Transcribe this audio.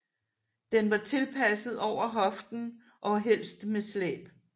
Den var tilpasset over hoften og helst med slæb